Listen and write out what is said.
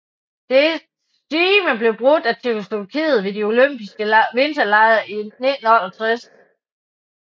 Dets stime blev brudt af Tjekkoslovakiet ved de Olympiske Vinterlege i 1968